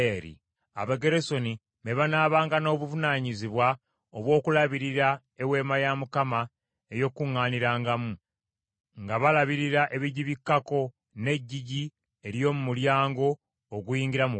Abagerusoni be banaabanga n’obuvunaanyizibwa obw’okulabirira Eweema ey’Okukuŋŋaanirangamu, nga balabirira ebigibikkako n’eggigi ery’omu mulyango oguyingira mu Weema,